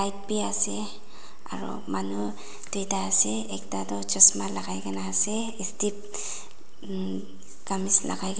ase aru manu duita ase ekta tu chesma lagai kena ase um kamis lagai--